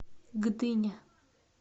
гдыня